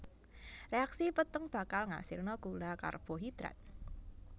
Réaksi peteng bakal ngasilna gula karbohidrat